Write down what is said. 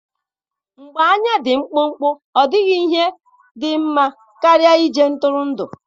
na mgbe anya dị mkpụmkpụ, ọ dịghị ihe dị mma karịa ije ntụrụndụ.